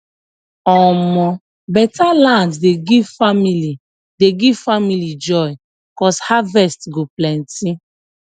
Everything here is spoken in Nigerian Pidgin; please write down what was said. omo beta land dey give family dey give family joy cuz harvest go plenty